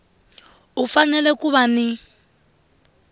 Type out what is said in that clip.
u fanele ku va ni